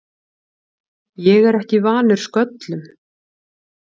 Ég er ekki vanur sköllum.